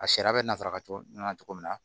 A sariya bɛ nasara cogo ɲana cogo min na